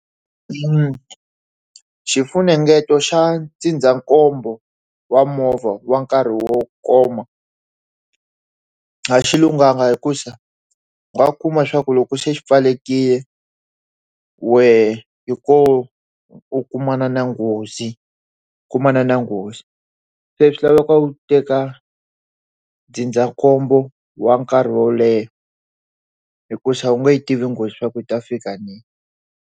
Xifunengeto xa ndzindzakhombo wa movha wa nkarhi wo koma a xi lunghanga hi ku xa wa khuma swa ku loko xi pfalekile wehe hi ku u kumana na nghozi kumana na nghozi se swi laveka u teka ndzindzakhombo wa nkarhi wo leha hi ku xava u n'wi tivi nghozi swa ku u ta fika rini.